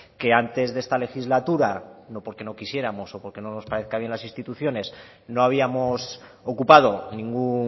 que antes de esta legislatura no porque no quisiéramos o porque no nos parezcan bien las instituciones no habíamos ocupado ningún